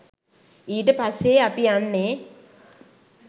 ඊට පස්සේ අපි යන්නේ